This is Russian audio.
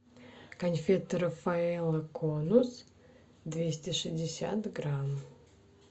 конфеты рафаэлло конус двести шестьдесят грамм